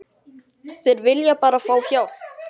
Þeir vilja bara fá hjálp.